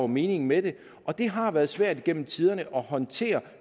meningen med det og det har været svært igennem tiderne at håndtere